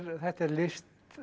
þetta er list